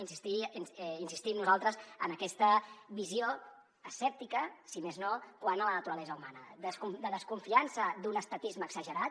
insistim nosaltres en aquesta visió escèptica si més no quant a la naturalesa humana de desconfiança d’un estatisme exagerat